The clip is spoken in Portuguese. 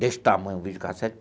Desse tamanho, um videocassete.